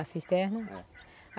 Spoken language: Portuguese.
A cisterna? É